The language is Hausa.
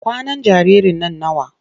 Kwanan jaririn nan nawa?